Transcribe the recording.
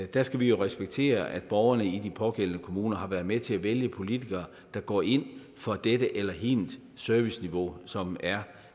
der skal vi jo respektere at borgerne i de pågældende kommuner har været med til at vælge politikere der går ind for dette eller hint serviceniveau som er